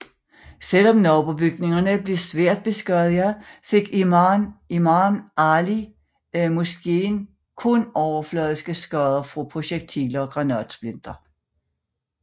Selvom nabobygningerne blev svært beskadiget fik Imam Ali Moskeen kun overfladiske skader fra projektiler og granatsplinter